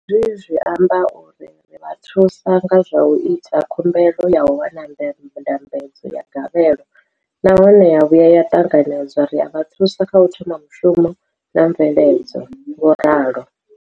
Hezwi zwi amba uri ri vha thusa nga zwa u ita khumbelo ya u wana ndambedzo ya gavhelo nahone ya vhuya ya ṱanganedzwa, ri a vha thusa kha u thoma mushumo na mveledzo, vho ralo.